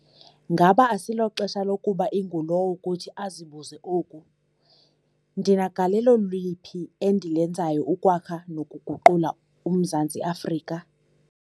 Ngaba asiloxesha lokuba ingulowo kuthi azibuze oku - "ndinagalelo liphi endilenzayo ukwakha nokuguqula uMzantsi Afrika?"